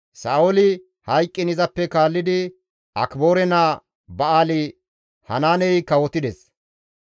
Sa7ooli hayqqiin izappe kaallidi Akiboore naa Ba7aali-Hanaaney kawotides.